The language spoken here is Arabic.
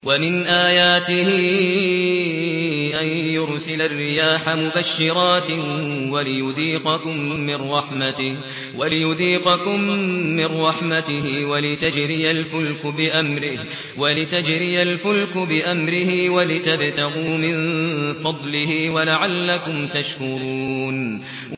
وَمِنْ آيَاتِهِ أَن يُرْسِلَ الرِّيَاحَ مُبَشِّرَاتٍ وَلِيُذِيقَكُم مِّن رَّحْمَتِهِ وَلِتَجْرِيَ الْفُلْكُ بِأَمْرِهِ وَلِتَبْتَغُوا مِن فَضْلِهِ وَلَعَلَّكُمْ تَشْكُرُونَ